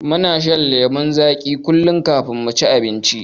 Muna shan lemon zagi kullun kafin muci abinci